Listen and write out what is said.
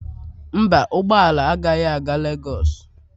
Mba, ụgbọ ala agaghị aga Lagos